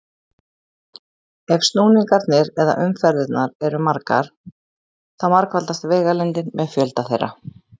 Ef snúningarnir eða umferðirnar eru margar þá margfaldast vegalengdin með fjölda þeirra.